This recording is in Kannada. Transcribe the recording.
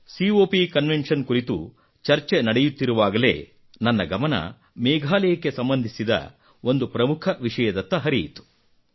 ಕಾಪ್ ಕನ್ವೆನ್ಷನ್ ಕುರಿತು ಚರ್ಚೆ ನಡೆಯುತ್ತಿರುವಾಗಲೇ ನನ್ನ ಗಮನ ಮೇಘಾಲಯಕ್ಕೆ ಸಂಬಂಧಿಸಿದ ಒಂದು ಪ್ರಮುಖ ವಿಷಯದತ್ತ ಹರಿಯಿತು